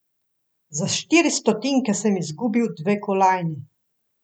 Za štiri stotinke sem izgubil dve kolajni.